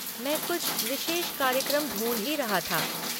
मैं कुछ विशेष कार्यक्रम ढूँढ ही रहा था।